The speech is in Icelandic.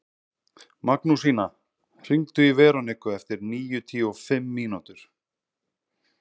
Magnúsína, hringdu í Veroniku eftir níutíu og fimm mínútur.